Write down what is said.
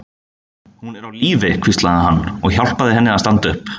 Hún er á lífi, hvíslaði hann og hjálpaði henni að standa upp.